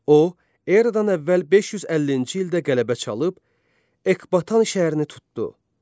O, Eradan əvvəl 550-ci ildə qələbə çalıb Ekbatan şəhərini tutdu.